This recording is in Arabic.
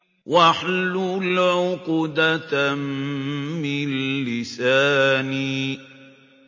وَاحْلُلْ عُقْدَةً مِّن لِّسَانِي